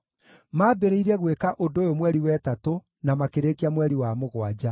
Maambĩrĩirie gwĩka ũndũ ũyũ mweri wa ĩtatũ na makĩrĩkia mweri wa mũgwanja.